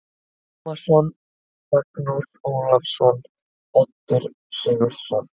Tómasson, Magnús Ólafsson, Oddur Sigurðsson